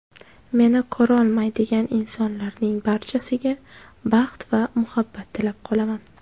Meni ko‘rolmaydigan insonlarning barchasiga baxt va muhabbat tilab qolaman.